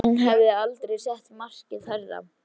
Nei, hann hafði aldrei sett markið hærra.